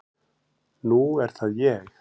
Nú er það ég.